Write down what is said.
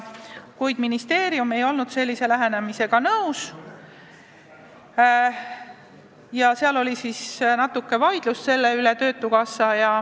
Kuid ministeerium ei olnud sellise lähenemisega nõus ja natuke vaieldi selle üle.